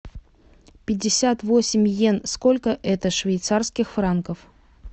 пятьдесят восемь йен сколько это швейцарских франков